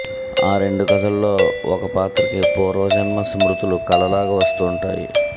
ఆ రెండు కధల్లో ఒక పాత్రకి పూర్వజన్మ స్మృతులు కలలాగా వస్తుంటాయి